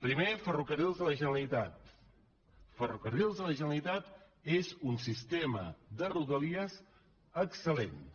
primer ferrocarrils de la generalitat ferrocarrils de la generalitat és un sistema de rodalies excel·segon